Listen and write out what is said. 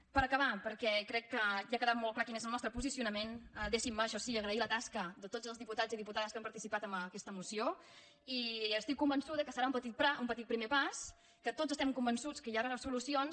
per acabar perquè crec que ja ha quedat molt clar quin és el nostre posicionament deixin me això sí agrair la tasca de tots els diputats i diputades que han participat en aquesta moció i estic convençuda que serà un petit primer pas que tots estem convençuts que hi haurà solucions